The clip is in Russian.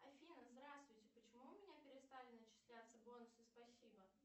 афина здравствуйте почему у меня перестали начисляться бонусы спасибо